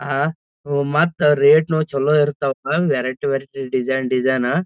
ಆಹ್ಹ್ ಒಂದ್ ಮತ್ ರೆಟನು ಚಲೋ ಇರ್ತಾವ ಅಣ್ಣ ವೆರೈಟಿ ವೆರೈಟಿ ಡಿಸೈನ್ ಡಿಸೈನ್ --